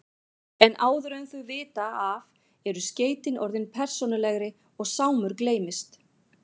En áður en þau vita af eru skeytin orðin persónulegri og Sámur gleymist.